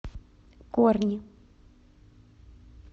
корни